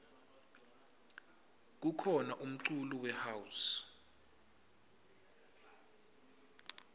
kukhona umculo we house